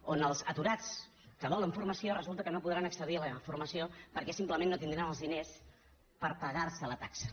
o als aturats que volen formació i resulta que no podran accedir a la formació perquè simplement no tindran els diners per pagar se la taxa